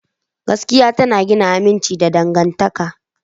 Gaskiya tana gina aminci ga dangantaka.